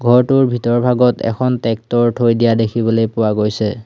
ঘৰটোৰ ভিতৰ ভাগত এখন ট্ৰেক্টৰ থৈ দিয়া দেখিবলৈ পোৱা গৈছে।